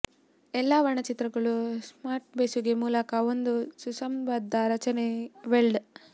ಎಲ್ಲಾ ವರ್ಣಚಿತ್ರಗಳು ಸ್ಪಾಟ್ ಬೆಸುಗೆ ಮೂಲಕ ಒಂದು ಸುಸಂಬದ್ಧ ರಚನೆ ವೆಲ್ಡ್